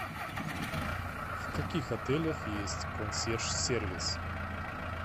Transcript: в каких отелях есть консьерж сервис